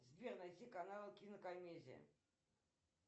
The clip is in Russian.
сбер найти канал кинокомедия